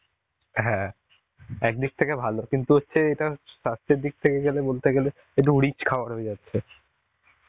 হ্যাঁ একদিক থেকে ভালো কিন্তু হচ্ছে এটা স্বাস্থ্যের দিক থেকে গেলে বলতে গেলে একটু rich খাবার হয়ে যাচ্ছে.